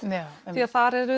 því að þar eru